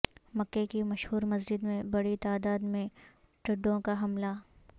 مکہ کی مشہور مسجد میں بڑی تعداد میں ٹڈوں کا حملہ